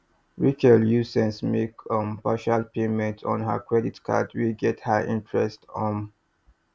rachel use sense make um partial payments on her credit card wey get high interest um